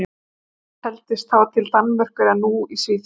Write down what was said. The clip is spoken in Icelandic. Málmey taldist þá til Danmerkur en er nú í Svíþjóð.